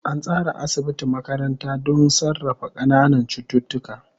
An tsara asibiti makaranta don sarrafa ƙananan cututtuka.